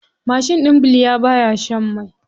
Mashin ɗin bilya baya shan mai.